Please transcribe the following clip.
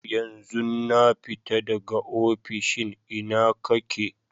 Yanzun na fita daga ofishin, ina ka ke?